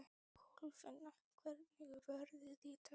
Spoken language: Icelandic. Kolfinna, hvernig er veðrið í dag?